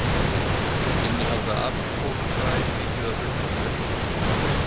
Innihalda apríkósufræ mikið af þessu vítamíni?